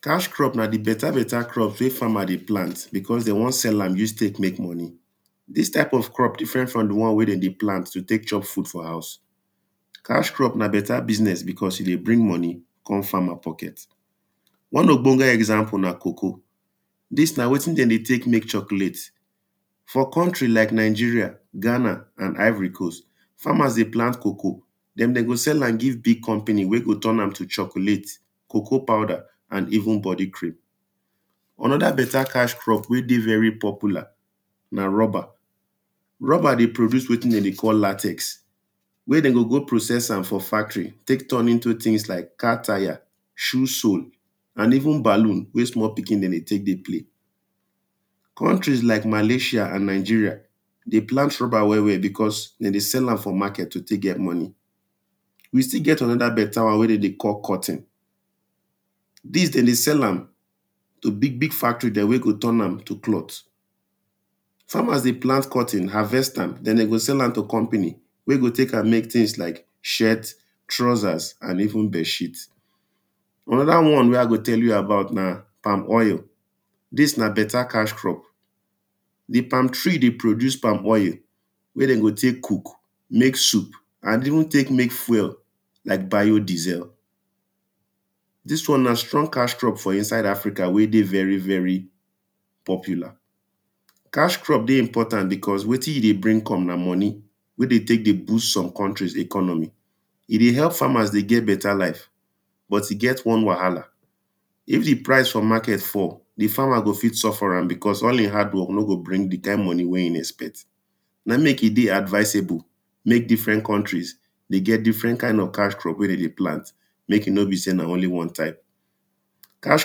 Cash crop na di better better plant wey farmers dey crop, because dem wan sell use take make money, dis type of crops different from di one wen dem dey plant take chop food for house, cash crop na better business because e dey bring money come farmer pocket. One ogbonge example na coacoa, dis na wetin dem dey take make chocolate. For country like Nigeria, Ghana and Ivory coast, farmers dey plant coacoa, den dem go sell am to big company wen go turn am to chocolate, coacoa powder and even body cream. Another better cash crop wen dey popular, na rubber. Rubber dey produce wetin dem dey call latex, wen dem go go process for factory come turn into things like, car tire, shoe sole, and even balloon wen small pikin dem dey take dey play, countries like malasia and Nigeria dey plant rubber well well because dem dey sell am for market to take get money, we still get another one wen dem dey call cotton dis dem dey sell am to big big factories dem wey go turn am to cloth, farmers dey plant cotton, harvest am, den dem go sell am to company wen go use am make things like; trouser, shirt and even bed sheet. Another one wen I go tell you about na palm oil dis na better cash crop, di palm tree dey produce palm oil wen dem go take cook, make soup and even take make fuel like bio diesel, di?s w??n na? str??? ka?? cr??b f?? i?nsa?i?d a?fri?ka? we? de? v??ri? p??pju?la? Cash crops dey important because wetin e dey bring come na money wen dem take dey boost some countries economy e dey help farmers dey get better life. But e get one wahala, if di price for market fall, di farmer go fit fall for am because all im hardwork no go bring di kind money wen e expect. Na im make e dey advisable make different countries dey get different kind of cash crop wen dem dey plant, make e no be sey na only one type. Cash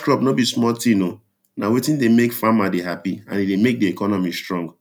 crop no be small thing oh, na wetin dey make farmer dey happy and e dey make di economy strong.